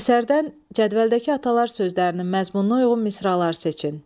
Əsərdən cədvəldəki atalar sözlərinin məzmununa uyğun misralar seçin.